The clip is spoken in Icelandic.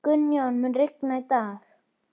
Gunnjóna, mun rigna í dag?